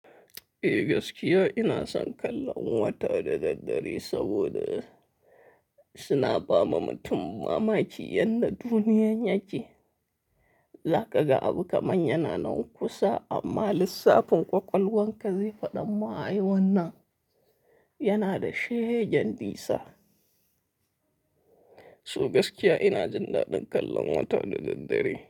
Eh gaskiya ina son kallon wata da daddare saboda suna ba ma mutum mamaki yadda duniyar ya ce. Za ka ga abu kamar yana nan kusa amma lissafin ƙwaƙwalwar ka zefa ɗan ma'ai wannan yana da shege dinsa. So gaskiya ina jindaɗan kallon wata da daddare.